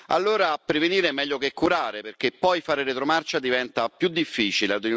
Allora, prevenire è meglio che curare, perché poi fare retromarcia diventa più difficile.